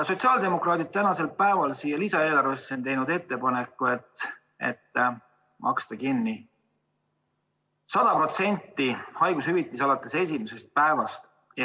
Sotsiaaldemokraadid on teinud selle lisaeelarve kohta ettepaneku maksta 100% haigushüvitist alates esimesest päevast.